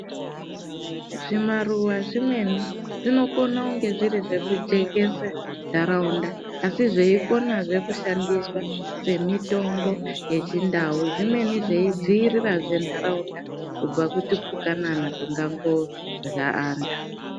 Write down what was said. Zvimaruwa zvimweni zvinokone kunge zviri zvekujekese nharaunda asi zveikonazve kushandiswa semitombo yechindau zvimweni zveidziirirazve ndaraunda kubva kutupukanana tungangorya antu.